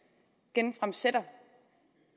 genfremsætter